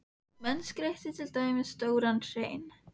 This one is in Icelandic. Menn skreyttu til dæmis stóran hrein.